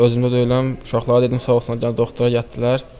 Özümdə deyiləm, uşaqlara dedim, sağ olsunlar gəlib doktora gətirdilər.